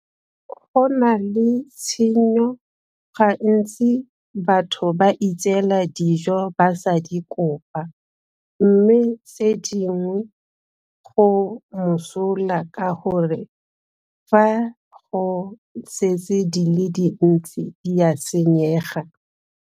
Go na le tshenyo gantsi batho ba itseela dijo ba sa di kopa mme tse dingwe go mosola ka gore fa go setse di le dintsi di a senyega.